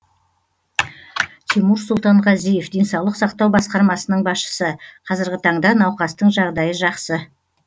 тимур сұлтанғазиев денсаулық сақтау басқармасының басшысы қазіргі таңда науқастың жағдайы жақсы